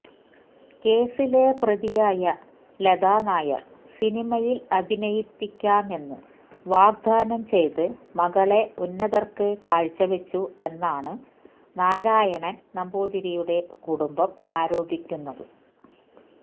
കേസിലെ പ്രതിയായ ലതാനായര് സിനിമയില് അഭിനയിപ്പിക്കാമെന്ന് വാഗ്ദാനം ചെയ്ത് മകളെ ഉന്നതര്ക്ക് കാഴ്ചവച്ചു എന്നാണ് നാരായണന് നമ്പൂതിരിയുടെ കുടുംബം ആരോപിക്കുന്നത്